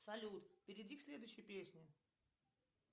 салют перейди к следующей песне